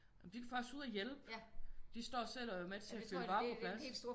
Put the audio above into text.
De er faktisk ude og hjælpe. De står selv og er med til at fylde varer på plads